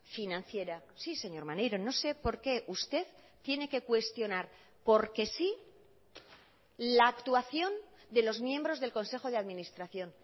financiera sí señor maneiro no sé porqué usted tiene que cuestionar porque sí la actuación de los miembros del consejo de administración